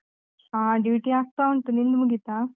ಹಾ duty ಆಗ್ತಾ ಉಂಟು, ನಿಂದು ಮುಗೀತಾ?